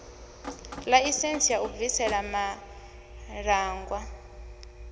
ḽaisentsi ya u bvisela malaṱwa